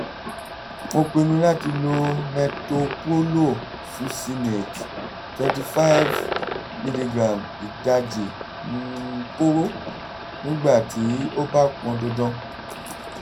mo pinnu láti lo metoprolol succinate twenty five mg ìdajì um kóró nígbà tí ó bá pọn dandan